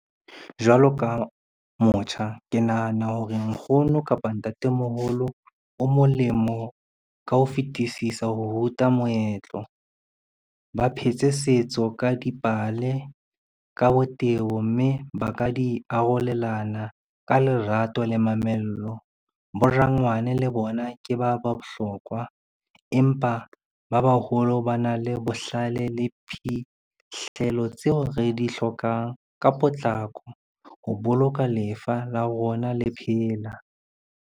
Jwalo ka motjha, ke nahana hore nkgono kapa ntatemoholo o molemo ka ho fetisisa ho ruta moetlo. Ba phetse setso ka dipale, ka botebo, mme ba ka di arolelana ka lerato le mamello. Borangwane le bona ke ba ba bohlokwa, empa ba baholo ba na le bohlale le phihlelo tseo re di hlokang ka potlako ho boloka lefa la rona le phela.